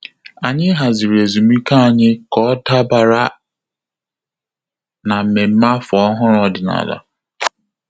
Ànyị hàzị̀rị̀ ezumike ànyị kà ọ́ dàbàrà na mmemme áfọ́ ọ́hụ́rụ́ ọ́dị́nála.